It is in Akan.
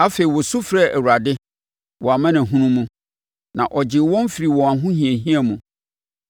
Afei, wɔsu frɛɛ Awurade, wɔn amanehunu mu, na ɔgyee wɔn firii wɔn ahohiahia mu.